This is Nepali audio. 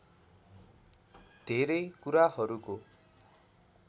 धेरै कुराहरूको